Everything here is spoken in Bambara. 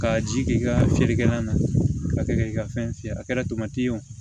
Ka ji k' i ka feerekɛlan na ka kɛ k'i ka fɛn fiyɛ a kɛra tamati ye o